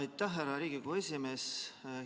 Aitäh, härra Riigikogu esimees!